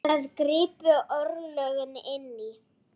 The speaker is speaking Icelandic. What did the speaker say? Þar gripu örlögin inn í.